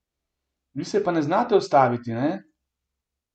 Vi se pa ne znate ustaviti, ne?